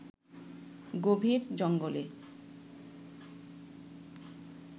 গভীর জঙ্গলে